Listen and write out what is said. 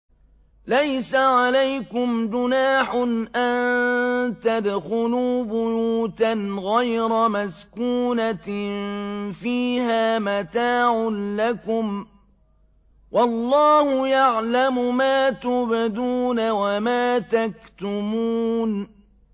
لَّيْسَ عَلَيْكُمْ جُنَاحٌ أَن تَدْخُلُوا بُيُوتًا غَيْرَ مَسْكُونَةٍ فِيهَا مَتَاعٌ لَّكُمْ ۚ وَاللَّهُ يَعْلَمُ مَا تُبْدُونَ وَمَا تَكْتُمُونَ